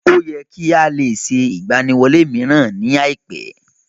Ó yẹ kí á lè ṣe ìgbaniwọlé mìíràn ní àìpé.